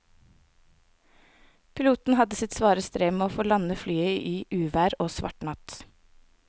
Piloten hadde sitt svare strev med å få landet flyet i uvær og svart natt.